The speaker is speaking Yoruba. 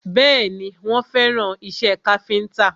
Bẹ́ẹ̀ni, wọ́n fẹ́ràn ìṣe káfíntà